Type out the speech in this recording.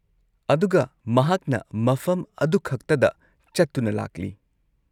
ꯑꯗꯨꯒ ꯃꯍꯥꯛꯅ ꯃꯐꯝ ꯑꯗꯨꯈꯛꯇꯗ ꯆꯠꯇꯨꯅ ꯂꯥꯛꯂꯤ꯫